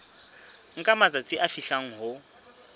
nka matsatsi a fihlang ho